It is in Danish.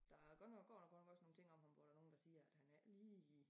Der godt nok går nu godt nok nogen ting om ham hvor der nogen der siger at han er ikke lige